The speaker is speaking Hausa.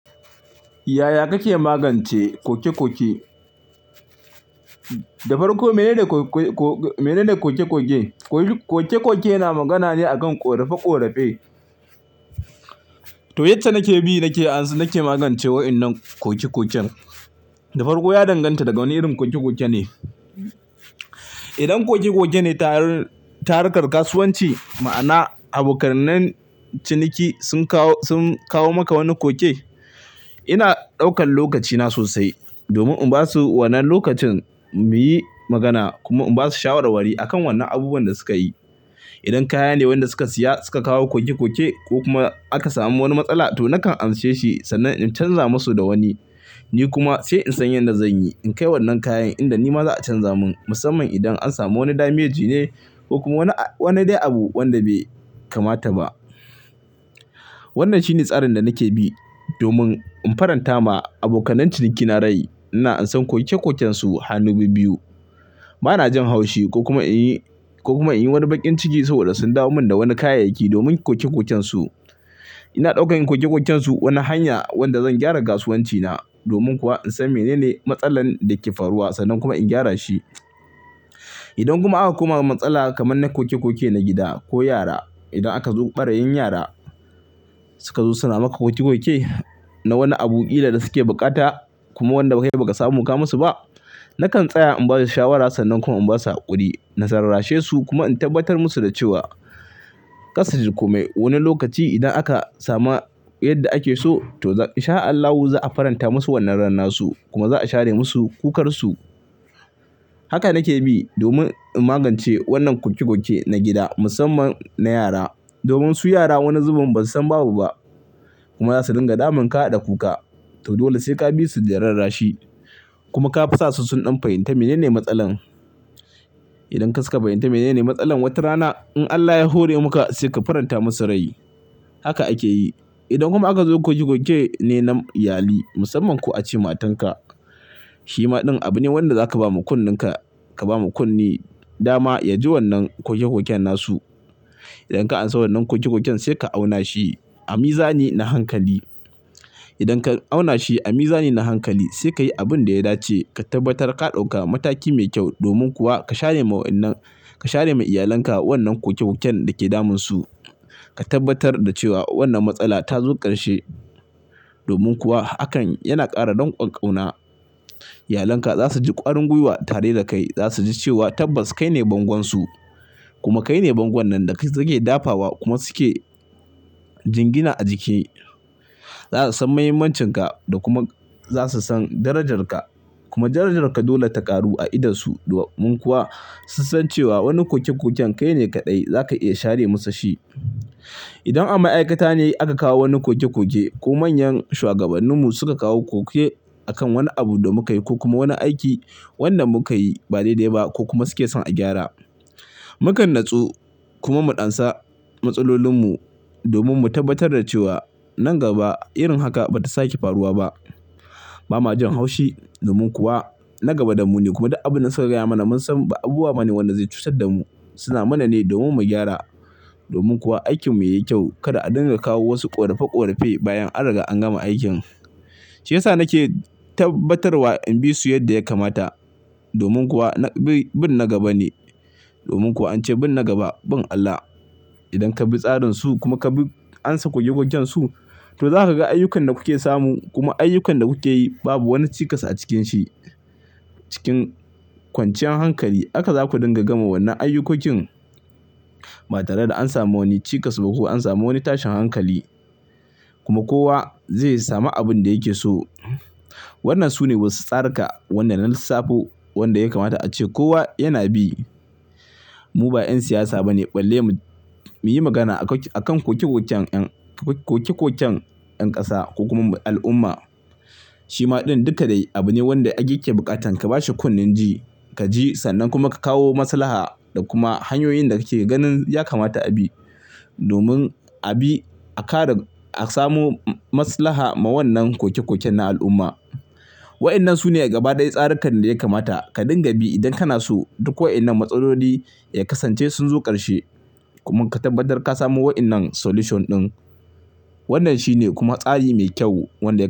Yaya kake magance ƙoke-ƙoke? Da farko menene koke-koke? Koke-koke yana magana ne a kan ƙorafe-ƙorafe. To yacce nake bi, nake magance wayannan ƙoke-ƙoken. Da farko ya danganta daga wane irin ƙoke-ƙoke ne. Idan koke-koke ne ta harkar kasuwanci, ma'ana abokan ciniki sun kawo maka wani koke, ina ɗaukan lokacina sosai domin in basu wannan lokacin mu yi magana kuma in basu shawarwari a kan wannan abubuwan da suka yi. Idan kaya ne wanda suka siya suka kawo koke-koke ko kuma aka samu wani matsala, to nakan amshe shi sannan in canza masu da wani. Ni kuma sai in san yadda zan yi in kai wannan kayan inda nima za a canza mun, musamman idan an samu wani damage ne ko kuma wani dai abu wanda bai kamata ba. Wannan shine tsarin da nake bi domin in faranta ma abokanan ciniki na rai. Ina ansan koke-koken su hannu biyu. Bana jin haushi ko kuma in yi wani baƙin ciki saboda sun dawo min da wani kayayyaki domin koke-koken su. Ina ɗaukan koke-koken su wani hanya wanda zan gyara kasuwanci na. Domin kuwa in san menene matsalar da ke faruwa sannan kuma in gyara shi. Idan kuma aka koma matsala kamar na koke-koke na gida ko yara, idan aka zo ɓarayin yara suka zo suna maka ƙoke-ƙoke na wani abu kila da suke bukata kuma wanda kai baka samu ka musu ba, nakan tsaya in basu shawara sannan kuma in basu hakuri na rarrashe su kuma in tabbatar musu da cewa kar suji komai, wani lokaci idan aka sama yadda ake so to in sha Allahu za'a faranta masu wannan ranna su kuma za'a share musu kukar su. Haka nake bi domin in magance wannan koke-koke na gida, musamman na yara. Domin su yara wani zubin basu san babu ba kuma za su dinga damun ka da kuka. To dole sai ka bi su da rarra shi kuma ka fasa su sun ɗan fahimta menene matsalar. Idan ka suka fahimci menene matsalar, wata rana in Allah ya hore maka sai ka faranta musu rai. Haka ake yi. Idan kuma aka zo koke-koke ne na iyali, musamman ko a ce matan ka, shi ma ɗin abu ne wanda zaka ba mu kunnenka, ka ba mu kunne, dama ya ji wannan koke-koken nasu. Idan ka ansa wannan koke-koken sai ka auna shi a mizani na hankali. Idan ka auna shi a mizani na hankali sai ka yi abin da ya dace. Ka tabbatar ka ɗauka mataki mai kyau. Domin kuwa ka share ma iyalan ka wannan koke-koken da ke damun su. Ka tabbatar da cewa wannan matsala ta zo ƙarshe. Domin kuwa hakan yana ƙara dankon kauna Iyalan ka za su ji ƙwarin guiwa tare da kai. Za su ji cewa tabbas kai ne bangon su kuma kai ne bangon nan da suke dafawa kuma suke jingina a jiki. Za su san muhimmancin ka da kuma za su san darajar ka. Kuma darajar ka dole ta ƙaru a idon su. Domin kuwa su san cewa wani koke-koken kai ne kaɗai zaka iya share musu shi. Idan a ma'aikata ne aka kawo wani koke-koke ko manyan shuwagabannin mu suka kawo koke a kan wani abu da muka yi ko kuma wani aiki wanda muka yi ba dai-dai ba ko kuma suke son a gyara, mu kan natsu kuma mu ansa matsalolin mu domin mu tabbatar da cewa nan gaba irin haka bata sake faruwa ba. Ba ma jin haushi. Domin kuwa na gaba damu ne kuma duk abin da suka gaya mana mun san ba abubuwaba ne wanda zai cutar da mu. Suna mana ne domin mu gyara. Domin kuwa aikin mu ya yi kyau. Kada a dinga kawo wasu korafe-korafe bayan an riga an gama aikin. Shi yasa nake tabbatar wa in bi su yadda ya kamata. Domin kuwa bin na gaba ne. Domin kuwa ance bin na gaba bin Allah. Idan ka bi tsarin su kuma ka bi ansa koke-koken su, to za ka ga ayyukan da kuke samu kuma ayyukan da kuke yi babu wani cikas a cikin shi. Cikin kwanciyar hankali haka za ku dinga gama wannan ayyukokin ba tare da an samu wani cikas ba ko an samu wani tashin hankali. Kuma kowa zai samu abin da yake so. Wannan sune wasu tsaruka. Wanda na lissafo wanda ya kamata ace kowa yana bi. Mu ba 'yan siyasa ba ne balle mu yi magana a kan koke-koken 'yan ƙasa ko kuma al'umma. Shi ma din duka dai abu ne wanda ake buƙatan ka bashi kunnen ji, ka ji sannan kuma ka kawo maslaha da kuma hanyoyin da kake ganin ya kamata a bi domin a samo maslaha ma wannan koke-koken na al'umma. Wayannan sune gaba ɗaya tsarikan da ya kamata ka dinga bi idan kana so duk wayannan matsaloli ya kasance sun zo ƙarshe. Kuma ka tabbatar ka samo wayannan solution ɗin. Wannan shine kuma tsari mai kyau wanda yake.